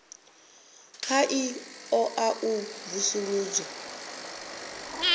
kha ḓi ṱoḓa u vusuludzwa